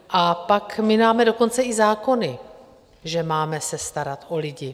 A pak, my máme dokonce i zákony, že se máme starat o lidi.